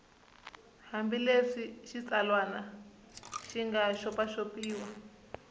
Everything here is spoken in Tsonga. hambileswi xitsalwana xi nga xopaxopiwa